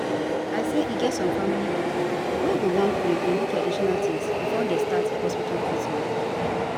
i say e get some family pipo wey go want pray or do traditional tins before dem start hospital treatment